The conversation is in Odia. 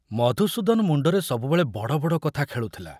ମଧୁସୂଦନ ମୁଣ୍ଡରେ ସବୁବେଳେ ବଡ଼ବଡ଼ କଥା ଖେଳୁଥିଲା।